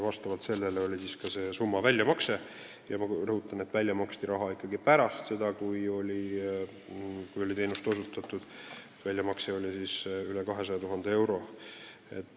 Vastavalt sellele oli välja makstud summa – ma rõhutan, et välja maksti raha alles pärast seda, kui oli teenust osutatud – veidi üle 200 000 euro.